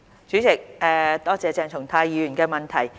主席，多謝鄭松泰議員的補充質詢。